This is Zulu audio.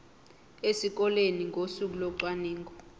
esikoleni ngosuku locwaningo